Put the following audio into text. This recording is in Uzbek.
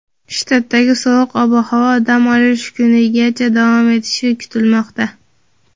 Shtatdagi sovuq ob-havo dam olish kunigacha davom etishi kutilmoqda.